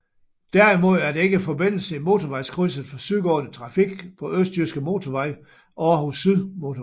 Derimod er der ikke forbindelse i motorvejskrydset for sydgående trafik på Østjyske Motorvej og Aarhus Syd Motorvejen